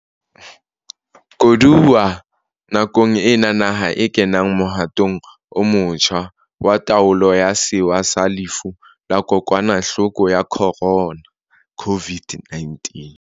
Koduwa nakong ena naha e kenang mohatong o motjha wa taolo ya sewa sa lefu la Kokwanahloko ya Khorona COVID-19.